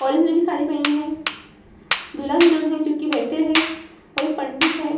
Orange colour की साड़ी पहनी है दूल्हा-दुल्हन है जो की बैठे हैं और एक पंडित है।